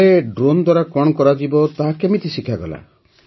ହେଲେ ଡ୍ରୋନ୍ ଦ୍ୱାରା କଣ କରାଯିବ ତାହା କେମିତି ଶିଖାଗଲା